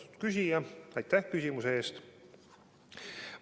Austatud küsija, aitäh küsimuse eest!